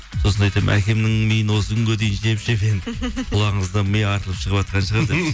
сосын айтамын әкемнің миын осы күнге дейін жеп жеп енді құлағыңыздан ми атылып шығыватқан шығар